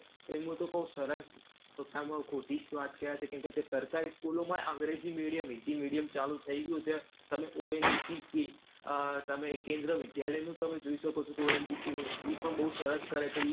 એ હું તો કહું સરળ, ખોટામાંખોટી જ વાત કહેવાય. કેમ કે તે સરકારી school ઓમાં પણ અંગ્રેજી medium, હિન્દી medium ચાલું થઈ ગ્યું છે. તમે ONGC કે આહ તમે કેન્દ્ર વિદ્યાલયનું તમે જોઈ શકો છો ONGC નું. ઈ પણ બઉ સરસ કરે છે